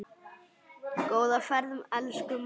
Góða ferð, elsku amma.